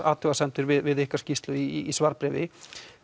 athugasemdir við ykkar skýrslu í svarbréfi